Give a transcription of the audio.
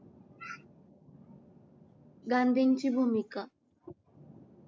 गांधींची भूमिका